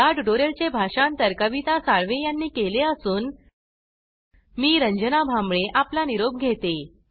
याट्यूटोरियल चे भाषांतर कविता साळवे यानी केले असून मी रंजना भांबळे आपला निरोप घेते